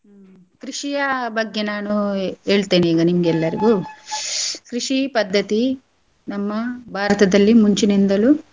ಹ್ಮ್ ಕೃಷಿಯಾ ಬಗ್ಗೆ ನಾನೂ ಹೇಳ್ತೇನೆ ಈಗ ನಿಮ್ಗೆ ಎಲ್ಲರಿಗೂ ಕೃಷಿ ಪದ್ದತಿ ನಮ್ಮ ಭಾರತದಲ್ಲಿ ಮುಂಚಿನಿಂದಲೂ.